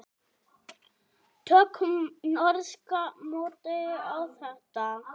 Tökum norska módelið á þetta.